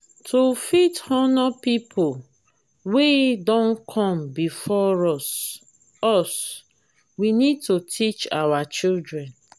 to fit honor pipo wey don come before us us we need to teach our children